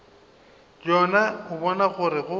yena o bona gore go